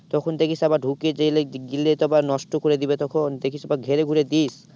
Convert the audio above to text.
তখন দেখিস আবার ঢুকে গেলে তো আবার নষ্ট করে দেবে তখন দেখিস আবার ঘেরে ঘুরে দিস।